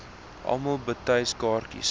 almal betyds kaartjies